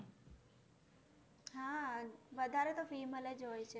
હા વધારે તો female જ હોય છે.